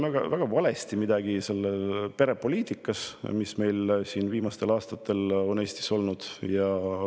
Ma arvan, et selle perepoliitikaga, mis meil siin viimastel aastatel on Eestis olnud, on midagi väga valesti.